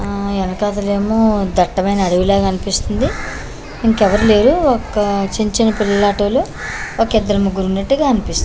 ఆ ఎనకతలేమో దట్టమైన అడవిలా కన్పిస్తుంది ఇంకెవరూ లేరు ఒక చిన్ చిన్ పిల్లలాటోలు ఒకిద్దరు ముగ్గురు ఉన్నట్టుగా అన్పిస్తుంది.